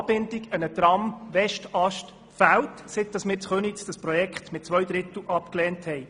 die Anbindung an einen Tram-Westast fehlt, seit wir in Köniz das Projekt mit zwei Dritteln abgelehnt haben.